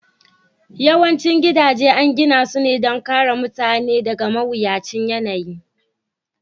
Yawancin gidaje an gina su ne don kare mutane daga mawuyacin yanayi